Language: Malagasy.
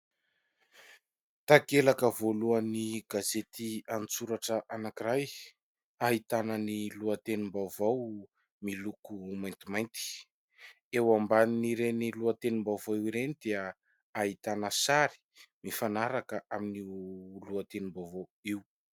Takelaka voalohan'ny gazety an-tsoratra anankiray ahitana ny lohatenim-baovao miloko maintimainty. Eo ambanin'ireny lohatenim-baovao ireny dia ahitana sary mifanaraka amin'io lohatenim-baovao io.